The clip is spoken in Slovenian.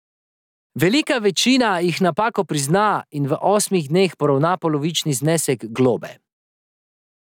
Velika večina jih napako prizna in v osmih dneh poravna polovični znesek globe.